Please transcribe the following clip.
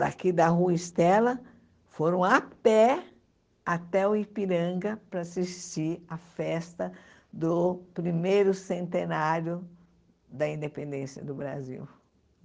daqui da Rua Estela, foram a pé até o Ipiranga para assistir à festa do primeiro centenário da independência do Brasil.